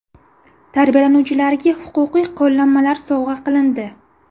Tarbiyalanuvchilarga huquqiy qo‘llanmalar sovg‘a qilindi.